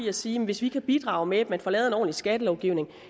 at sige at hvis vi kan bidrage med at man får lavet en ordentlig skattelovgivning